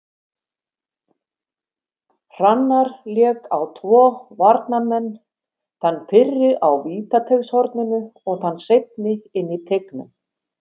Hrannar lék á tvo varnarmenn, þann fyrri á vítateigshorninu og þann seinni inn í teignum.